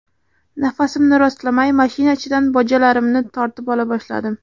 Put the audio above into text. Nafasimni rostlamay, mashina ichidan bojalarimni tortib ola boshladim.